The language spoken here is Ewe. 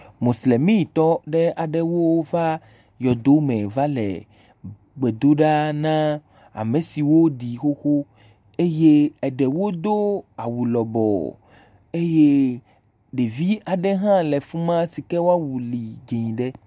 Mosilemitɔ aɖewo va yɔdo me va le gbe do ɖa na ame si woɖi xoxo, eɖewo do awu lɔbɔɔ eye ɖevi aɖe hã le fi ma sike woawu le dzɛ̃ ɖe.